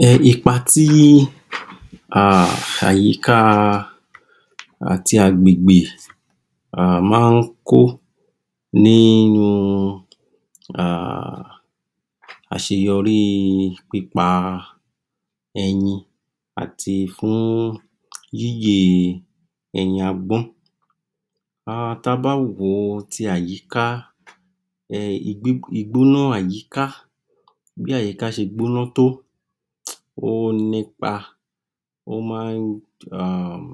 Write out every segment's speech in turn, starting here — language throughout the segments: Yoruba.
um ipa tí àyíká àti agbègbè um máa ń kó ní um àṣeyọrí pípa ẹyin àti fún yíyè ẹyin agbọn, um ta bá wo ti àyíká um ìgbóná àyíká, bí àyíká ṣe gbóná tó ó nípa, ó máa ń um,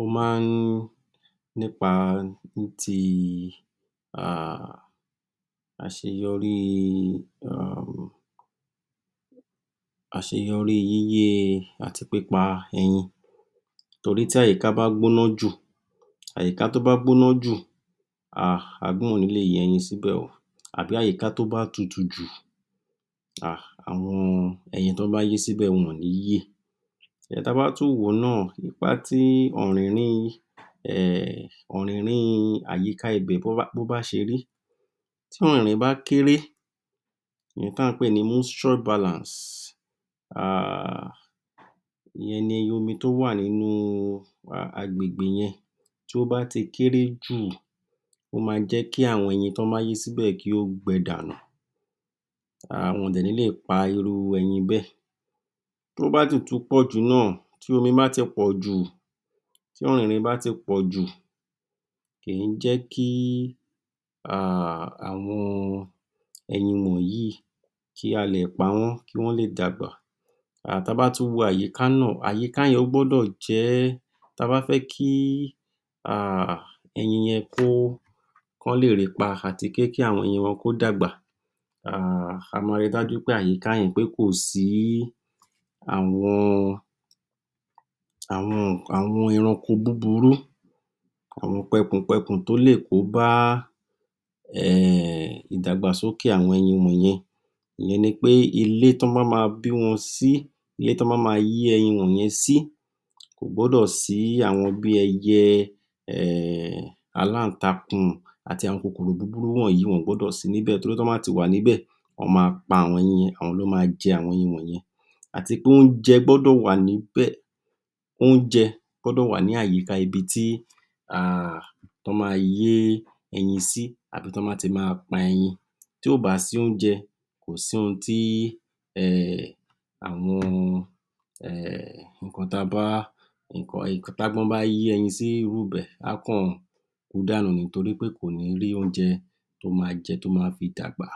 ó máa ń nípa ní ti um àṣeyorí um, àṣeyọrí yíyè àti pípa ẹyin torí tí àyíká bá gbóná jù, àyíkà tó bá gbọ́ná jù um agbọ́n ò ní lè yé ẹyin sibẹ o, àbí àyíká tó bá tutù jù um àwọn ẹyin tọ bá yé síbẹ̀, wọn ò ní yè. Ta bá tún wò ó náà ipá tí ọ̀rìnrín um ọ̀rìnrín àyíká ibẹ̀ bó bá ṣe rí, tí ọ̀rìnrín bá kéré, ìyẹn ta ń pè ní, um ìyẹn ní omi tó wà nínú agbègbè yẹn, tí ó bá ti kere jù, o máa ń jẹ́ kí àwọn ẹyin tí wọ́n bá yé síbẹ̀ kí ó gbẹ dànù um wọn ò dè nílè pa irú ẹyin bẹ́ẹ̀. Tó bá sì tún pọ̀ jù náà, tí omi bá ti pọ̀ jù, tí ọ̀rìnrín bá ti pọ̀ jù kì í jẹ́ kí um àwọn ẹyin wọ̀nyí kí a lè pa wọ́n kí wọ́n lè dàgbà, um ta bá tún wo àyìká náà, àyíká yẹn ó gbódọ̀ jẹ́, ta bá fẹ́ kí um ẹyin yẹn kó, kan lè ri pa, àti pé kí àwọn ẹyin wọn kó dàgbà um a ma ri dájú pé àyíká yẹn pé kò sí àwọn, àwọn eranko búburú àwọn pẹkùn-pẹkùn tó lè kóbá ìdàgbàsókè àwọn ẹyin wọ̀n yẹn, ìyẹn ni pé ilé tọ́ bá ma bí wọn sí, ilé tí wọ́n bá ma yé ẹyin wọ̀n yẹn sí, kò gbọ́dọ̀ sí àwọn bí ẹyẹ, um aláǹtakùn, àti àwọn kòkòro búbúrú wọ̀nyí wọn ò gbọdọ̀ sí níbè torí tí wọ́n bá ti wà níbè wọ́n ma pa àwọn ẹyin, àwọn ni wọn ma jẹ àwọn ẹyin wọ̀n yẹn àti pé oúnjẹ gbọ́dọ̀ wà níbẹ̀, oúnjẹ gbọ́dọ̀ wà ní àyíká ibi tí um tọ́ ma yé ẹyin sí àbí tọ́ bá ti ma pa ẹyin, tí ò bá sí oúnjẹ, kò sí oun tí um àwọn um nǹkan ta bá tágbọ́n bá yè ẹyin sí irú ibẹ̀, á kàn kú dànù ni, torí pé kò ní rí oúnjẹ tó ma jẹ, tó ma fi dàgbà.